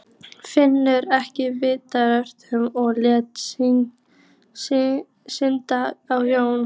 Finnur sagði vitavörðurinn og leit spyrjandi á Jón.